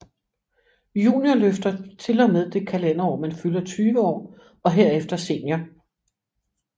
Juniorløfter til og med det kalenderår man fylder 20 år og herefter senior